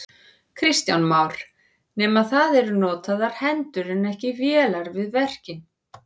Kristján Már: Nema það eru notaðar hendur en ekki vélar við verkin?